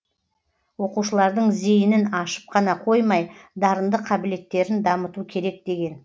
оқушылардың зейінін ашып қана қоймай дарынды қабілеттерін дамыту керек деген